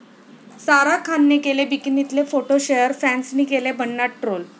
सारा खानने केले बिकनीतले फोटो शेअर, फॅन्सनी केलं भन्नाट ट्रोल